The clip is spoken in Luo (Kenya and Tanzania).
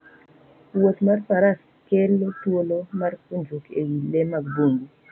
Wuoth mar faras kele thuolo mar puonjruok e wi le mag bungu